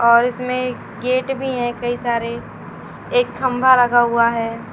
और इसमें गेट भी है कई सारे एक खंभा लगा हुआ है।